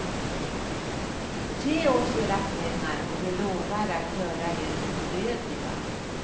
Ge oss era pengar och vi lovar att göra er odödliga.